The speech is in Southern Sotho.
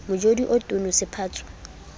motjodi o tono se sephatswa